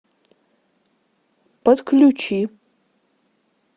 подключи